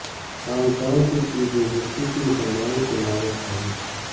Hong Kong کی chief executive کی مسلمانوں سے معذرت خواہی